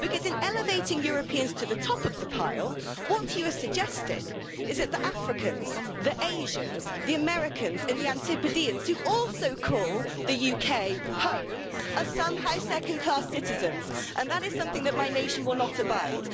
In elevating Europeans to the top of the pile, what you are suggesting is that the Africans, the Asians, the Americans and the Antipodeans who also call the UK home are somehow second-class citizens and that is something that my nation will not abide.